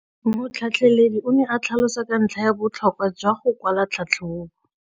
Motlhatlheledi o ne a tlhalosa ka ntlha ya botlhokwa jwa go kwala tlhatlhôbô.